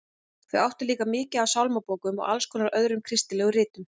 Þau áttu líka mikið af sálmabókum og alls konar öðrum kristilegum ritum.